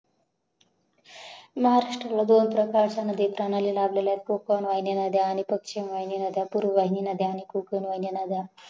लास्टला दोन प्रकारच्या नदी प्रणाली लाभलेल्या आहेत कोकण वाहिनी नद्या पश्चिन वाहिनी नद्या पूर्वा वाहिनी नद्या कोकण वाहिनी नद्या